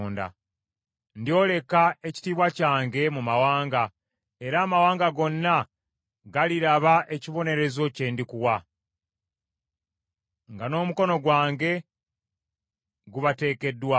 “Ndyoleka ekitiibwa kyange mu mawanga, era amawanga gonna galiraba ekibonerezo kye ndikuwa, nga n’omukono gwange gubateekeddwaako.